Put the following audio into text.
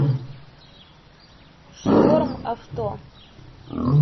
шторм авто